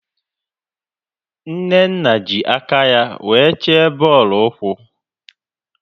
Nnenna ji aka ya wee chee bọọlụ ụkwụ